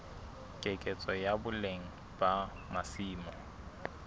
keketseho ya boleng ba masimo